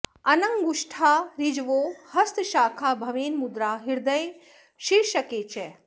अनङ्गुष्ठा ऋजवो हस्तशाखा भवेन् मुद्रा हृदये शीर्षके च